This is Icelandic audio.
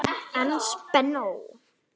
En spennó!